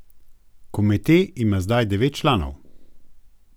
Komite ima zdaj devet članov.